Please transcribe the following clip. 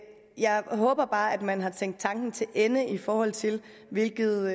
jeg håber bare at man har tænkt tanken til ende i forhold til hvilket